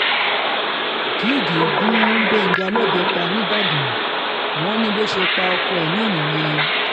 gígd gún gbẹ̀ngàn lọ́bẹ̀ pa nìbàdàn wọn ní bó ṣe pa ọkọ ẹ̀ náà nìyẹn